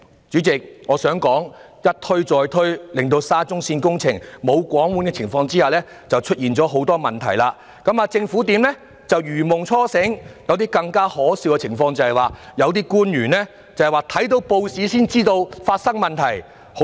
主席，我想說的是"一推再推"便令沙中線工程在"無皇管"的情況下出現了很多問題，政府才如夢初醒，更可笑的是有些官員閱報才知道發生問題。